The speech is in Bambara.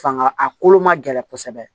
Fanga a kolo ma gɛlɛya kosɛbɛ